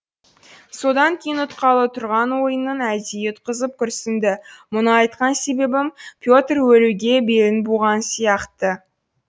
содан кейін ұтқалы тұрған ойынын әдейі ұтқызып күрсінді мұны айтқан себебім петр өлуге белін буған сияқты